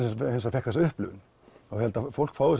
fékk þessa upplifun ég held að fólk fái